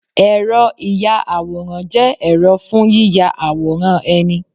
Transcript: Ẹ̀rọ ìya àwòrán jẹ́ ẹ̀rọ fún yíya àwòrán ẹni